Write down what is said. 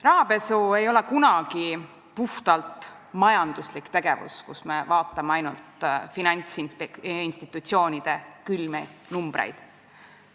Rahapesu ei ole kunagi puhtalt majanduslik tegevus, kus me vaatame ainult finantsinstitutsioonide külmi numbreid.